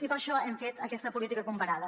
i per això hem fet aquesta política comparada